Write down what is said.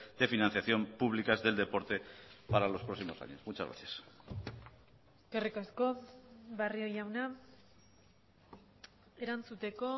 de financiación públicas del deporte para los próximos años muchas gracias eskerrik asko barrio jauna erantzuteko